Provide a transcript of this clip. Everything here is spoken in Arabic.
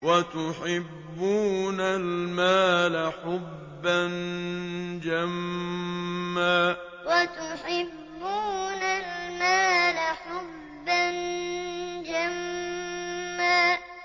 وَتُحِبُّونَ الْمَالَ حُبًّا جَمًّا وَتُحِبُّونَ الْمَالَ حُبًّا جَمًّا